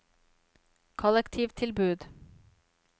kollektivtilbud